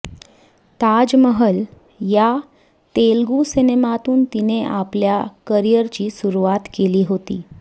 ताजमहल या तेलगू सिनेमातून तिने आपल्या करिअरची सुरवात केली होती